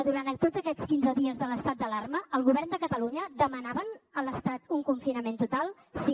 durant tots aquests quinze dies de l’estat d’alarma el govern de catalunya demanava a l’estat un confinament total sí